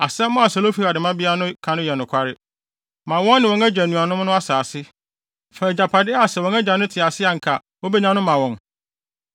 “Asɛm a Selofehad mmabea no ka no yɛ nokware. Ma wɔn ne wɔn agya nuanom no asase. Fa agyapade a sɛ wɔn agya no te ase a anka obenya no ma wɔn.